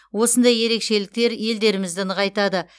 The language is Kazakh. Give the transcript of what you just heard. осындай ерекшеліктер елдерімізді нығайтады